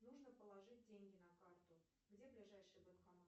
нужно положить деньги на карту где ближайший банкомат